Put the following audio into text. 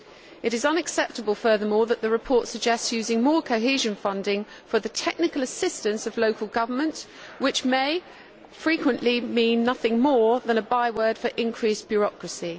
It is unacceptable, furthermore, that the report suggests using more cohesion funding for the technical assistance of local government, which may frequently mean nothing more than a by word for increased bureaucracy.